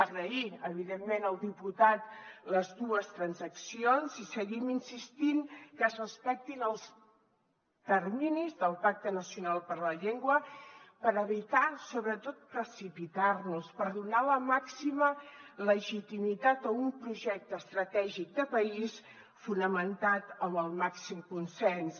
agrair evidentment al diputat les dues transaccions i seguim insistint que es respectin els terminis del pacte nacional per la llengua per evitar sobretot precipitar nos per donar la màxima legitimitat a un projecte estratègic de país fonamentat amb el màxim consens